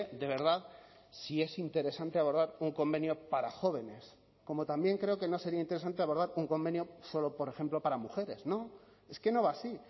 de verdad si es interesante abordar un convenio para jóvenes como también creo que no sería interesante abordar con convenio solo por ejemplo para mujeres no es que no va así